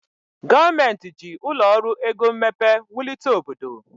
Gọọmenti ji ụlọ ọrụ ego mmepe wulite obodo.